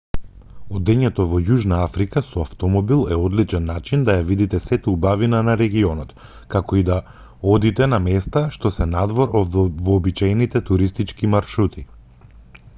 одењето во јужна африка со автомобил е одличен начин да ја видите сета убавина на регионот како и да одите на места што се надвор од вообичаените туристички маршрути